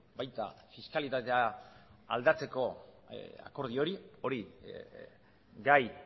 baita fiskalitatea aldatzeko akordio hori hori gai